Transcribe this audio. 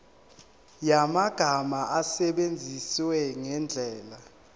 yamagama awasebenzise ngendlela